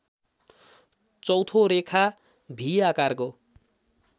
चौँथो रेखा भि आकारको